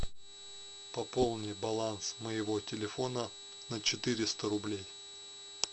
пополни баланс моего телефона на четыреста рублей